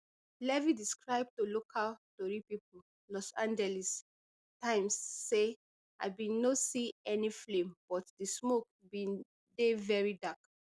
levy describe to local tori pipo los angeles times say i bin no see any flame but di smoke bin dey very dark